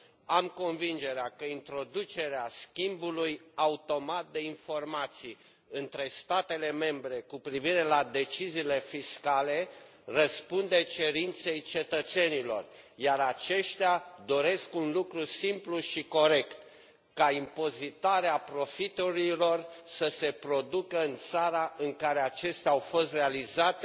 Am convingerea că introducerea schimbului automat de informații între statele membre cu privire la deciziile fiscale răspunde cerinței cetățenilor, iar aceștia doresc un lucru simplu și corect impozitarea profiturilor să se producă în țara în care acestea au fost realizate